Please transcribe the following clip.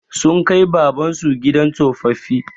Sun kai Baban su gidan tsofaffi.